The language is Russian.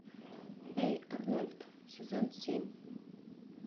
эй арнольд сезон семь